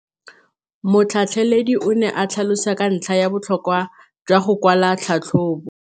Motlhatlheledi o ne a tlhalosa ka ntlha ya botlhokwa jwa go kwala tlhatlhôbô.